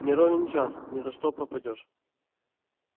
не ровен час ни за что пропадёшь